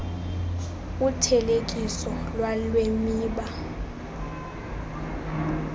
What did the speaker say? uthelekiso lwale miba